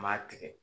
Maa tigɛ